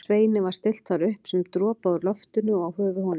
Sveini var stillt þar upp sem dropaði úr loftinu og á höfuð honum.